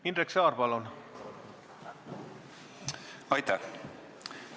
Aitäh!